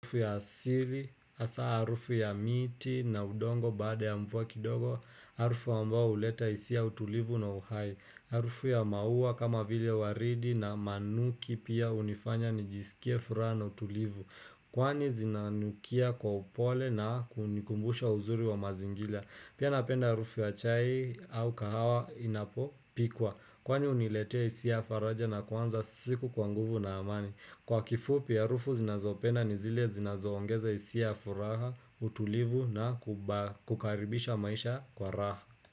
Harufu ya asiri, asa harufu ya miti na udongo baada ya mvua kidogo, harufu ambao huleta hisia ya utulivu na uhai. Harufu ya maua kama vile waridi na manuki pia hunifanya nijisikie furaha na utulivu. Kwani zinanukia kwa upole na kunikumbusha uzuri wa mazingira. Pia napenda harufu ya chai au kahawa inapo pikwa. Kwani huniletea hisia ya faraja na kuanza siku kwa nguvu na amani. Kwa kifupi ya harufu zinazopenda ni zile zinazoongeza hisia furaha, utulivu na kuba kukaribisha maisha kwa raha.